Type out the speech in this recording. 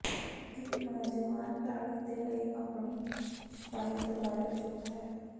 ਇੱਕ ਨੌਜਵਾਨ ਲਾੜੀ ਦੇ ਲਈ ਆਪਣੇ ਸ਼ਿਕਾਇਤ ਬਾਰੇ ਚੁੱਪ ਹੈ